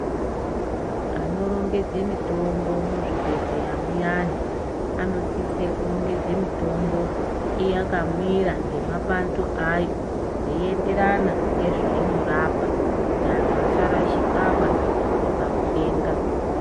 Anorongedze mitombo muzvibhedhlera muyani anosise kurongedza mitombo yakamira ngemapando ayo yeienderana ngezvainorapa kuti antu asarashikwaba pakutenga.